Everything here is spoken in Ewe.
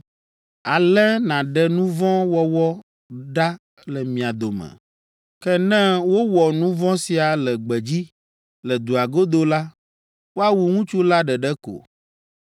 Ale nàɖe nu vɔ̃ wɔwɔ ɖa le mia dome. Ke ne wowɔ nu vɔ̃ sia le gbedzi, le dua godo la, woawu ŋutsu la ɖeɖe ko.